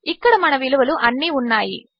ఇక్కడమనవిలువలుఅన్నీఉన్నాయి